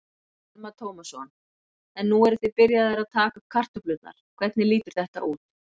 Telma Tómasson: En nú eruð þið byrjaðir að taka upp kartöflurnar, hvernig lítur þetta út?